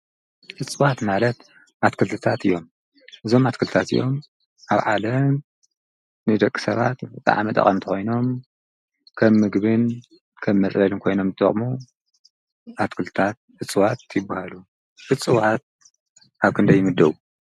እፅዋት ማለት ኣትክልቲታት እዮም ።እዞም ኣትክልቲታት እዚኦም ኣብ ዓለም ንደቂ ሰባት ብጣዕሚ ጠቐምቲ ኮይኖም ከም ምግብን መፅለልን ኮይኖም ዝጠቅሙ ኣትክልታት እፅዋት ይበሃሉ። እፅዋት ኣብ ክንደይ ይምደቡ?